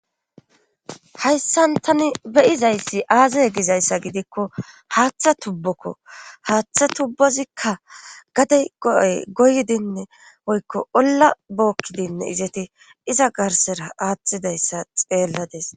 hayssan tani beyizayssi aazay gizayssa gidikko haaththa tubbokko haaththa tubbozikka gade go7oy goydinne oykko olla bookkidinne izeti iza garsera aaththidayssa xeelladis